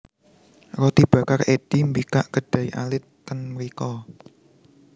Roti Bakar Eddy mbikak kedai alit ten mriko